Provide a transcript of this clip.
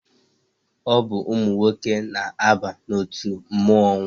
Ọ bụ ụmụ nwoke na-aba n'otu mmụọnwụ.